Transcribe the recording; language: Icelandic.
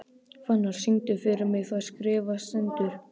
Fannar, syngdu fyrir mig „Það skrifað stendur“.